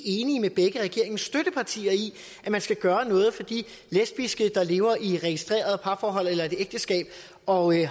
enige med begge regeringens støttepartier i at man skal gøre noget for de lesbiske der lever i registreret parforhold eller ægteskab og